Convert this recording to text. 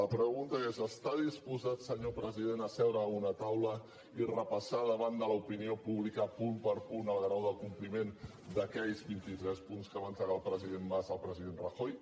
la pregunta és està disposat senyor president a seure a una taula i repassar davant l’opinió pública punt per punt el grau de compliment d’aquells vint i tres punts que va entregar el president mas al president rajoy